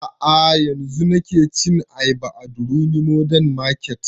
A'a yanzun nake cin ayaba a durumi modern market